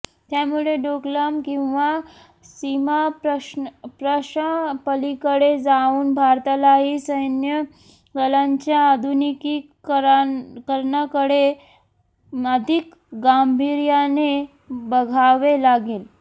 त्यामुळे डोकलाम किंवा सीमाप्रश्नापलीकडे जाऊन भारतालाही सैन्यदलांच्या आधुनिकीकरणाकडे अधिक गांभीर्याने बघावे लागेल